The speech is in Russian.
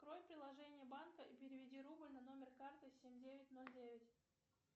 открой приложение банка и переведи рубль на номер карты семь девять ноль девять